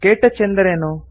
ಕೆಟಚ್ ಎಂದರೇನು